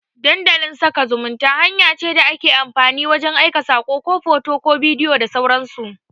Dandalin sada zumunta hanya ce da ake amfani wajan aika sako, ko hoto, ko bidiyo da sauran su